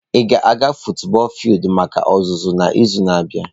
Ị ga-aga futubọọl fildu maka ọzụzụ n'izu na-abịa?